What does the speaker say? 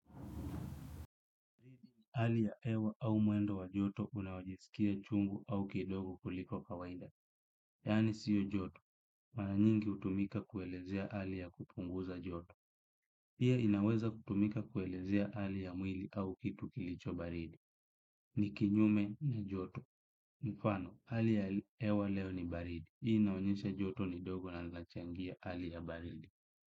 Hali ya hewa au mwendo wa joto unaojiskia chungu au kidogo kuliko kawaida. Yani siyo joto. Mara nyingi hutumika kuelezea hali ya kupunguza joto. Pia inaweza kutumika kuelezea hali ya mwili au kitu kilicho baridi. Ni kinyume ni joto. Mfano, hali ya hewa leo ni baridi. Hii inaonyesha joto ni dogo na linachangia hali ya baridi.